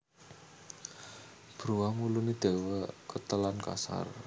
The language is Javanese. Bruwang wuluné dawa ketel lan kasar